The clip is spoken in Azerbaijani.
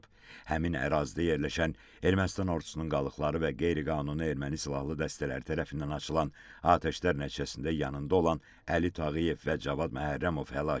Həmin ərazidə yerləşən Ermənistan ordusunun qalıqları və qeyri-qanuni erməni silahlı dəstələri tərəfindən açılan atəşlər nəticəsində yanında olan Əli Tağıyev və Cavad Məhərrəmov həlak olub.